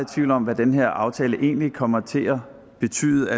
tvivl om hvad den her aftale egentlig kommer til at betyde